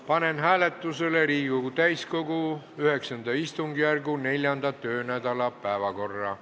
Panen hääletusele Riigikogu täiskogu IX istungjärgu 4. töönädala päevakorra.